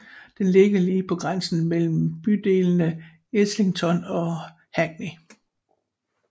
Den ligger lige på grænsen mellem bydelene Islington og Hackney